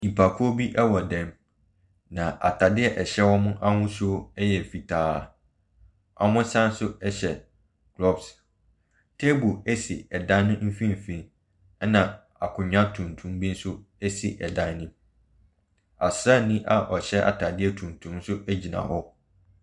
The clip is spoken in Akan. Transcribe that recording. Nnipakuo bi wɔ dan mu, na atade a ɛhyɛ wɔn ahosuo yɛ fitaa. Wɔsan nso hyɛ gloves. Table si dan no mfimfini, ɛnna akonnwa tuntum bi nso si dan no mu. Ɔsraani a ɔhyɛ atadeɛ tuntum nso gyima hɔ.